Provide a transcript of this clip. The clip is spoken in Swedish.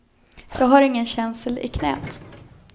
Jag har ingen känsel i knät.